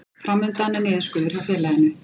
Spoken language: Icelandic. Fram undan er niðurskurður hjá félaginu